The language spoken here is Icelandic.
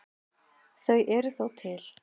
Þau eru þó til.